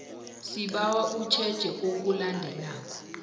sibawa utjheje okulandelako